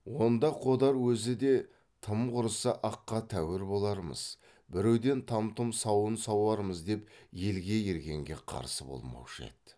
онда қодар өзі де тым құрыса аққа тәуір болармыз біреуден там тұм сауын сауармыз деп елге ергенге қарсы болмаушы еді